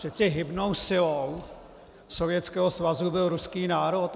Přeci hybnou silou Sovětského svazu byl ruský národ.